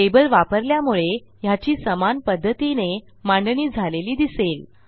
table वापरल्यामुळे ह्याची समान पध्दतीने मांडणी झालेली दिसेल